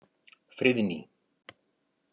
Friðný